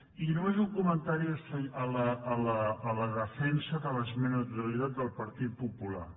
i només un comentari a la defensa de l’esmena a la totalitat del partit popular